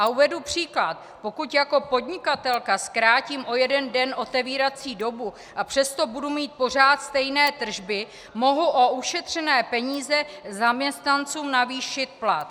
A uvedu příklad: Pokud jako podnikatelka zkrátím o jeden den otevírací dobu, a přesto budu mít pořád stejné tržby, mohu o ušetřené peníze zaměstnancům navýšit plat.